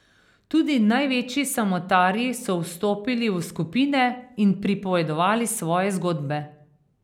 Tudi največji samotarji so vstopili v skupine in pripovedovali svoje zgodbe.